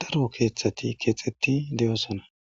daro keeththati keexeti deyosona